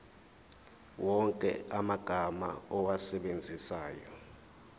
wonke amagama owasebenzisayo